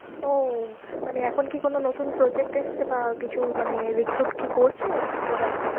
ও, মানে এখন কি কোনো নতুন project এসছে বা কিছু মানে recruit কি করছে ওরা?